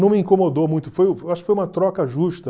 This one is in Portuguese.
Não me incomodou muito, acho que foi uma troca justa.